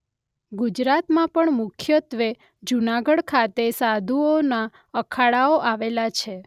ગુજરાતમાં પણ મુખ્યત્વે જૂનાગઢ ખાતે સાધુઓના અખાડાઓ આવેલા છે.